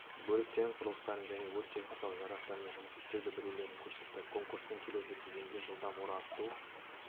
бөліктерін құрылыстарын және өрт техникалық жарақтармен жұмыс істеуді білулерін көрсетті конкурстың келесі кезеңінде жылдам орағыту